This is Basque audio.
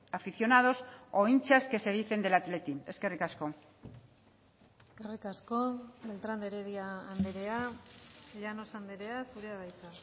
aficionados o hinchas que se dicen del athletic eskerrik asko eskerrik asko beltrán de heredia andrea llanos andrea zurea da hitza